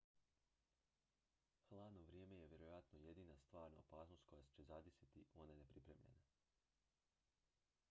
hladno vrijeme je vjerojatno jedina stvarna opasnost koja će zadesiti one nepripremljene